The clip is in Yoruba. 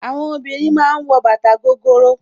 Àwọn obìnrin ma ń wọ bàtà gogoro